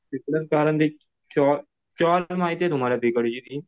तिकडे चॉल माहितीये तुम्हाला तिकडची ती?